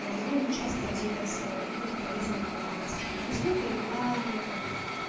довольно часто делятся какой-то полезной информацией там по настройке рекламы там